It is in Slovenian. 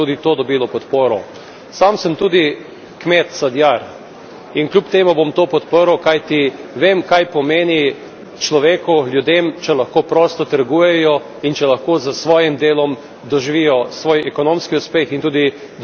Sam sem tudi kmet sadjar in kljub temu bom to podprl, kajti vem, kaj pomeni človeku, ljudem, če lahko prosto trgujejo in če lahko s svojim delom doživijo svoj ekonomski uspeh in tudi dosežejo svoje dostojanstvo.